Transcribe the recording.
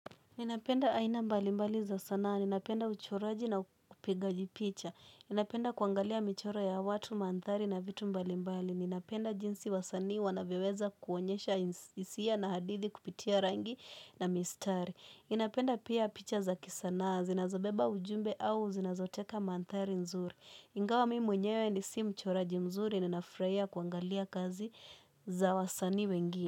Ninapenda aina mbalimbali za sanaa, ninapenda uchoraji na kupigaji picha. Ninapenda kuangalia michoro ya watu, manthari na vitu mbalimbali. Ninapenda jinsi wasanii wanavyoweza kuonyesha hisia na hadithi kupitia rangi na mistari. Ninapenda pia picha za kisanaa, zinazabeba ujumbe au zinazoteka mantari nzuri. Ingawa mi mwenyewe ni si mchoraji mzuri, ninafurahia kuangalia kazi za wasanii wengine.